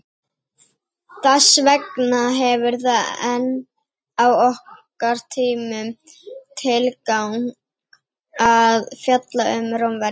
Þess vegna hefur það enn á okkar tímum tilgang að fjalla um Rómverja.